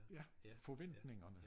Ja forventningerne